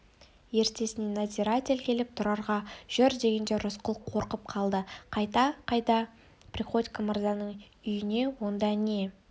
ертесіне надзиратель келіп тұрарға жүр дегенде рысқұл қорқып қалды қайда қайда приходько мырзаның үйіне онда не